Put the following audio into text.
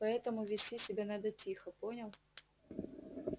поэтому вести себя надо тихо понял